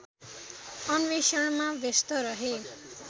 अन्वेषणमा व्यस्त रहे